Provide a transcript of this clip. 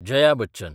Jaya Bachchan